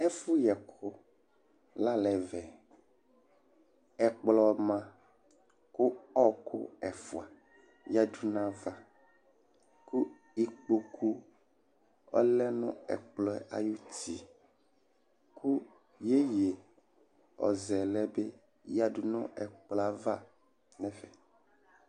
Ɛfʋ yɛkʋ la n'ɛvɛ Ɛkplɔ ma kʋ ɔkʋ ɛfua yǝdu n'ayava, kʋ ikpokʋ ɔlɛ nʋ ɛkplɔ yɛ ay'uti, kʋ yeye ɔzɛlɛ bi yǝdʋ nʋ ɛkplɔ yɛ ava